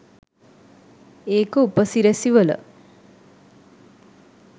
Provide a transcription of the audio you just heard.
ඒක උපසිරැසි වල